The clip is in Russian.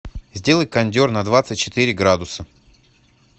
сделай кондер на двадцать четыре градуса